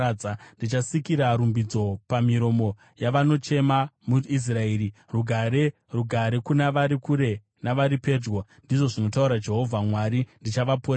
ndichisika rumbidzo pamiromo yavanochema muIsraeri. Rugare, rugare kuna vari kure navari pedyo,” ndizvo zvinotaura Jehovha. “Uye ndichavaporesa.”